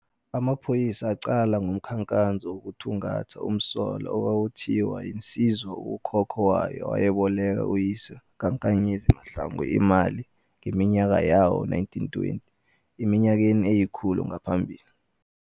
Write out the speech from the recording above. Amaphoyisa aqala umkhankaso wokuthungatha umsolwa - okwakuthiwa insizwa ukhokho wayo wayeboleke uyise kaNksz Mahlangu imali ngeminyaka yawo-1920 - eminyakeni eyikhulu ngaphambili.